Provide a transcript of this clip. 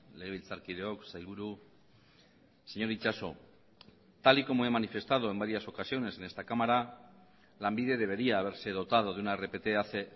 legebiltzarkideok sailburu señor itxaso tal y como he manifestado en varias ocasiones en esta cámara lanbide debería haberse dotado de una rpt hace